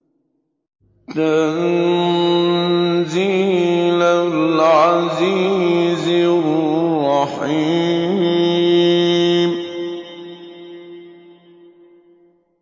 تَنزِيلَ الْعَزِيزِ الرَّحِيمِ